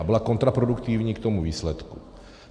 A byla kontraproduktivní k tomu výsledku.